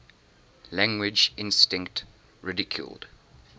language instinct ridiculed